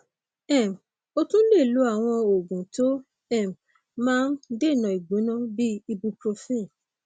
um o tún lè lo àwọn oògùn tó um máa ń um dènà ìgbóná bíi ibuprofen